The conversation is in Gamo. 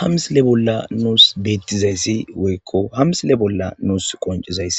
Ha misile bollan nus betizays woyiko ha misile bollan nus qonicizays